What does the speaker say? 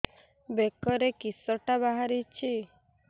ବେକରେ କିଶଟା ବାହାରିଛି